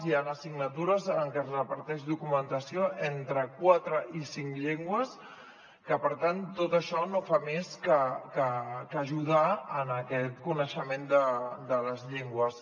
hi ha assignatures en què es reparteix documentació entre quatre i cinc llengües que per tant tot això no fa més que ajudar en aquest coneixement de les llengües